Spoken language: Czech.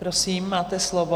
Prosím, máte slovo.